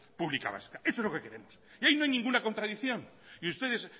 pública vasca y ahí no hay ninguna contradicción y ustedes